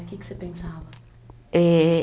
Que que você pensava? Eh